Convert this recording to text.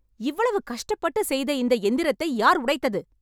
இவ்வளவு கஷ்டப்பட்டு செய்த இந்த எந்திரத்தை யார் உடைத்தது ?